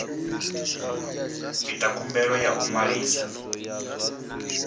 ita khumbelo ya u ṅwalisa